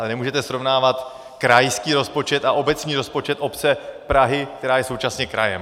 Ale nemůžete srovnávat krajský rozpočet a obecní rozpočet obce Prahy, která je současně krajem!